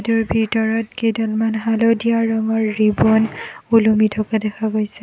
তাৰ ভিতৰত কেইডালমন হালধীয়া ৰঙৰ ৰিবন ওলমি থকা দেখা গৈছে।